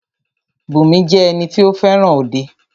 Bùnmi jẹ́ ẹni tí o fẹràn òde.